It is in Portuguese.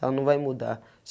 Ela não vai mudar.